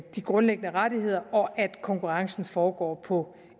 de grundlæggende rettigheder og at konkurrencen foregår på